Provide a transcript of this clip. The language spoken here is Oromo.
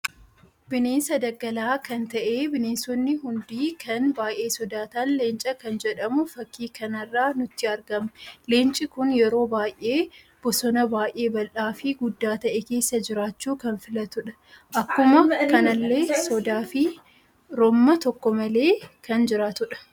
Bineensa dagalaa kan ta'ee bineensoonni hundii kan baay'ee sodatan leencaa kan jedhamu fakki kanarra nutti argama. Leenci kun yeroo baay'ee bosonabaay'ee baldhaa fi guddaa ta'e keessa jiraachu kan filatudha. Akkuma kanallee sodaa fi romma tokko malee kan juraatudha